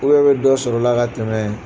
i bɛ dɔ sɔrɔ la ka tɛmɛn.